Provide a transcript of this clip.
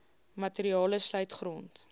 materiale sluit grond